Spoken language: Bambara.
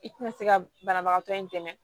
I tina se ka banabagatɔ in dɛmɛ